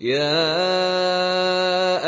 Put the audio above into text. يَا